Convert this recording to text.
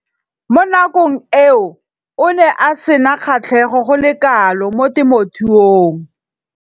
Mo nakong eo o ne a sena kgatlhego go le kalo mo temothuong.